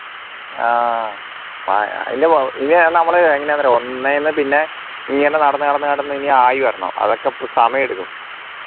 ആഹ് ഇനി നമ്മളെ എങ്ങനെയാണെന്ന് അറിയോ ഒന്നേ എന്ന് പിന്നെ ഇങ്ങനെ നടന്നു നടന്നു നടന്നു നടന്നു ഇനി ആയി വരണം അപ്പോ സമയം എടുക്കും